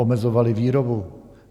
Omezovali výrobu.